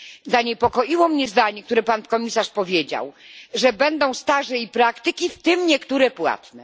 Zaniepokoiło mnie zdanie, które Pan Komisarz powiedział, że będą staże i praktyki, w tym niektóre płatne.